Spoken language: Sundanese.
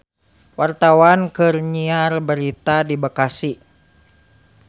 Wartawan keur nyiar berita di Bekasi